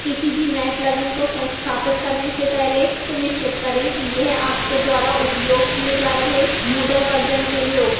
किसी भी नए plugin को संस्थापित करने से पहले सुनिश्चित करें कि यह आपके द्वारा उपयोग किए जा रहे moodle version के लिए उपलब्ध है